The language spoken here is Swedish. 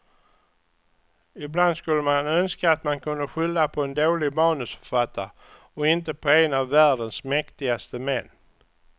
Ibland skulle man önska att man kunde skylla på en dålig manusförfattare och inte på en av världens mäktigaste män.